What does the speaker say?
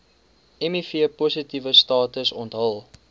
mivpositiewe status onthul